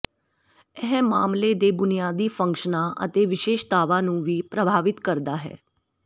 ਇਹ ਮਾਮਲੇ ਦੇ ਬੁਨਿਆਦੀ ਫੰਕਸ਼ਨਾਂ ਅਤੇ ਵਿਸ਼ੇਸ਼ਤਾਵਾਂ ਨੂੰ ਵੀ ਪ੍ਰਭਾਵਿਤ ਕਰਦਾ ਹੈ